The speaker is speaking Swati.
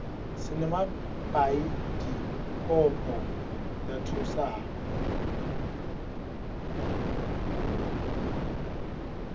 sinemabhayidikobho latfusako